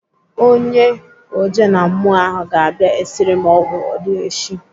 Onye ojenammụọ ahụ ga-abịa esiri m ọgwụ odigheshi.